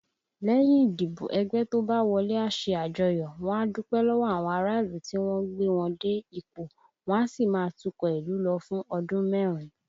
Lẹ́yìn ìdìbò, ẹgbẹ́ tó bá wọlé a ṣe àjọyọ̀, wọ́n á dúpẹ́ lọ́wọ́ àwọn ará ìlú tí wọ́n gbé wọn dé ipò, wọ́n á sì máa tukọ̀ ìlú lọ fún ọdún mẹ́rin